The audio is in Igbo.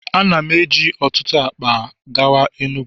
a na m eji otutu akpa gawa enugu.